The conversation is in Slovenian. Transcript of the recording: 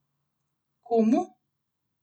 Komu?